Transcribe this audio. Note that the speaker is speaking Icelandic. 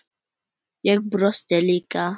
Ég brosti líka.